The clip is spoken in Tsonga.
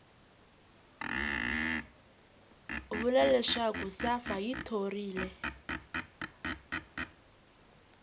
vula leswaku safa yi thorile